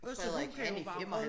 Også hun kan jo være med